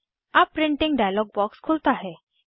अब printing dialog box खुलता है